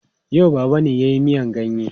Yau Baba ne ya yi miyan ganye.